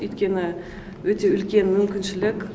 өйткені өте үлкен мүмкіншілік